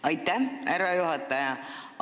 Aitäh, härra juhataja!